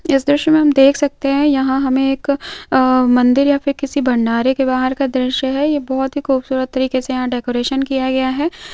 इस दृश्य मे हम देख सकते है यहा हमे एक मंदिर या फिर किसी भंडारे के बाहर का दृश्य है ये बहोत ही खूबसूरत तरीके से यहा डेकोरेशन किया गया है।